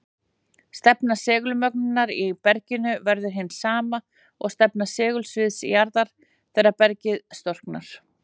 Stefna segulmögnunar í berginu verður hin sama og stefna segulsviðs jarðar þegar bergið storknar.